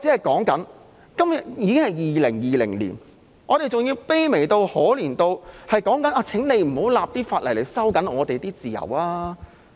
今天已經是2020年，我們還要卑微、可憐到要求政府不要立法來收緊我們的自由。